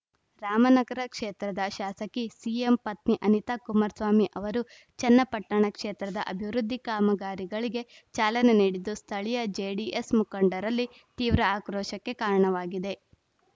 ರಾಮನಗರ ಕ್ಷೇತ್ರದ ಶಾಸಕಿ ಸಿಎಂ ಪತ್ನಿ ಅನಿತಾ ಕುಮಾರಸ್ವಾಮಿ ಅವರು ಚನ್ನಪಟ್ಟಣ ಕ್ಷೇತ್ರದ ಅಭಿವೃದ್ಧಿ ಕಾಮಗಾರಿಗಳಿಗೆ ಚಾಲನೆ ನೀಡಿದ್ದು ಸ್ಥಳೀಯ ಜೆಡಿಎಸ್‌ ಮುಖಂಡರಲ್ಲಿ ತೀವ್ರ ಆಕ್ರೋಶಕ್ಕೆ ಕಾರಣವಾಗಿದೆ